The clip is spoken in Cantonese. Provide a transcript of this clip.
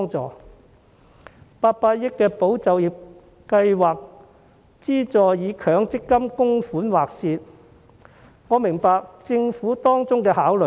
政府的800億元保就業計劃資助以強制性公積金供款劃線，我明白政府當中的考慮。